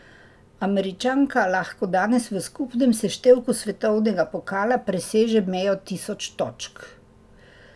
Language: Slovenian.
Američanka lahko danes v skupnem seštevku svetovnega pokala preseže mejo tisoč točk.